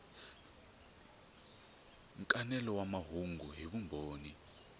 nkanelo wa mahungu hi vumbhoni